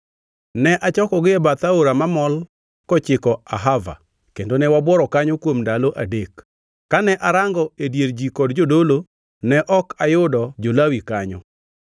Ne achokogi e bath aora mamol kochiko Ahava, kendo ne wabuoro kanyo kuom ndalo adek. Kane arango e dier ji kod jodolo, ne ok ayudo jo-Lawi kanyo.